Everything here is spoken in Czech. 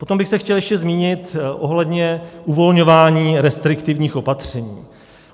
Potom bych se chtěl ještě zmínit ohledně uvolňování restriktivních opatření.